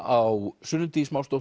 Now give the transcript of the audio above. á Sunnu